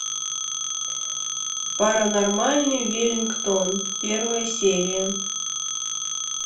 паранормальный веллингтон первая серия